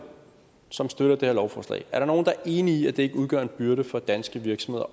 som støtter det her lovforslag er der nogen der er enige i at det overhovedet ikke udgør en byrde for danske virksomheder